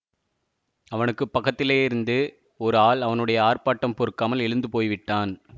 அவனுக்கு பக்கத்திலேயிருந்த ஓர் ஆள் அவனுடைய ஆர்ப்பாட்டம் பொறுக்காமல் எழுந்து போய்விட்டான்